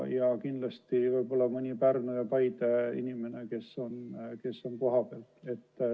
Ja kindlasti ka mõni Pärnu või Paide inimene, kes on kohapeal.